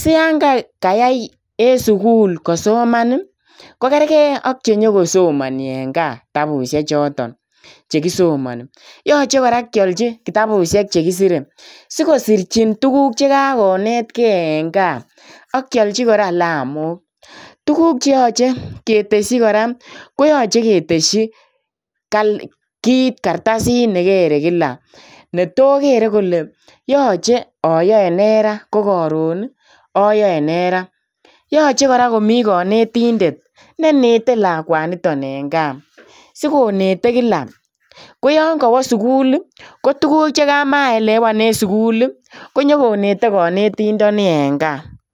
siyon kayai en sukul kosoman ii kokerkei ak chenyokosomoni en kaa kitabusiek choton chekisomoni. Yoche kora kiolji kitabusiek chekisire sikosirchn tuguk chekakonetkei en gaa ak kiolji kora kilomok. Tuguk cheyoche ketesyi kora koyoche ketesyi kal kit kartasit nekere kila netokere kole yoche oyoe nee raa ko koron ii oyoe nee raa yoche kora komi konetindet nenete lakwani en gaa sikonete kila siyon kowo sukul kotuguk chemaelewan en sukul ii konyokonete konetindoni en gaa.